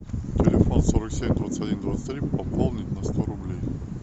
телефон сорок семь двадцать один двадцать три пополнить на сто рублей